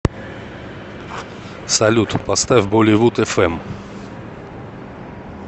салют поставь болливудэфэм